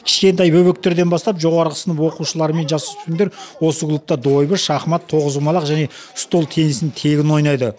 кішкентай бөбектерден бастап жоғары сынып оқушылары мен жасөспірімдер осы клубта дойбы шахмат тоғызқұамалқ және стол теннисін тегін ойнайды